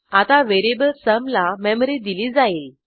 आता variable sum ला memory दिली जाईल